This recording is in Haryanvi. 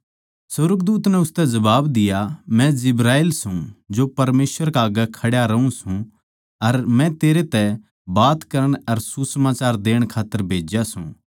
सुर्गदूत नै उसतै जबाब दिया मै जिब्राईल सूं जो परमेसवर कै आग्गै खड्या रहूँ सूं अर मै तेरै तै बात करण अर सुसमाचार देण खात्तर भेज्या सूं